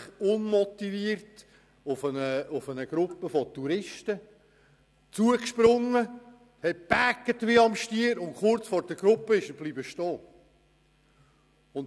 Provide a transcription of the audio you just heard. Ich habe beobachtet, wie er auf eine Gruppe von Touristen losrannte, wie am Spiess brüllte und dann kurz vor der Gruppe stehen blieb.